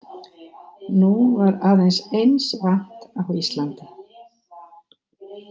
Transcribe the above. Nú var aðeins eins vant á Íslandi.